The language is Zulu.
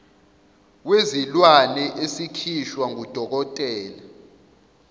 wezilwane esikhishwa ngudokotela